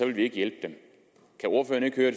vil hjælpe dem